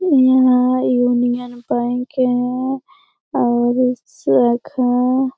यहाँ यूनियन बैंक है और इसका --